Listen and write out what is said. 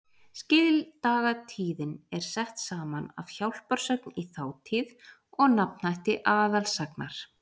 Skildagatíðin er sett saman af hjálparsögn í þátíð og nafnhætti aðalsagnar.